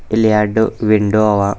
ಇಲ್ಲಿ ಎರ್ಡು ವಿಂಡೋ ಅವ.